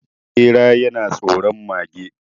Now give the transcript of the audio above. Bera yana tsoron mage